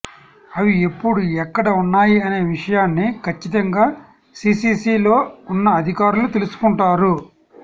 అవి ఎప్పుడు ఎక్కడ ఉన్నాయి అనే విషయాన్ని కచ్చితంగా సీసీసీలో ఉన్న అధికారులు తెలుసుకుంటారు